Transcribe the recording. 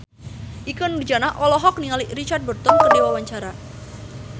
Ikke Nurjanah olohok ningali Richard Burton keur diwawancara